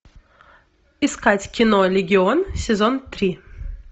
искать кино легион сезон три